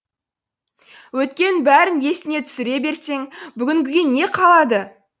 өткеннің бәрін есіңе түсіре берсең бүгінгіге не қалады